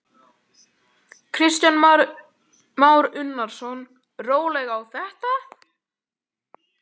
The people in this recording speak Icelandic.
Kristján Már Unnarsson: Rólega á þetta?